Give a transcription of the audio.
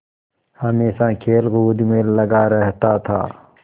हमेशा खेलकूद में लगा रहता था